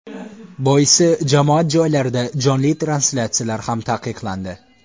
Boisi jamoat joylarida jonli translyatsiyalar ham taqiqlandi.